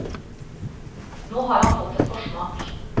Nå har han fått en forsmak.